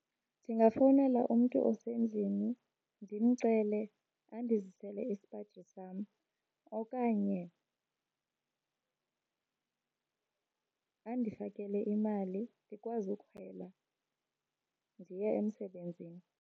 Ndingafowunela umntu osendlini ndimcele andizisele isipaji sam okanye andifakele imali ndikwazi ukhwela ndiye emsebenzini.